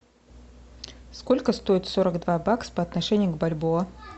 сколько стоит сорок два бакса по отношению к бальбоа